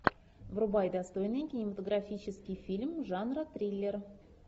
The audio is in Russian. врубай достойный кинематографический фильм жанра триллер